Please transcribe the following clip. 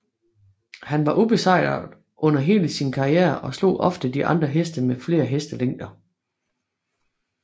Han var ubesejret under hele sin karriere og slog ofte de andre heste med flere hestelængder